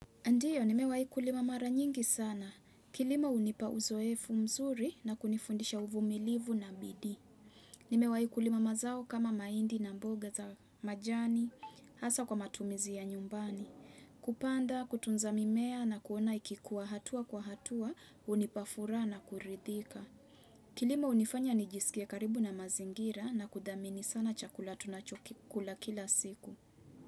Ndiyo, nimewahi kulima mara nyingi sana. Kilima hunipa uzoefu mzuri na kunifundisha uvumilivu na biidii. Nimewahi kulima mazao kama mahindi na mboga za majani, hasa kwa matumizi ya nyumbani. Kupanda, kutunza mimea na kuona ikikuwa hatua kwa hatua, hunipa furaha na kuridhika. Kilima hunifanya nijisikie karibu na mazingira na kudhamini sana chakula tunachokikula kila siku.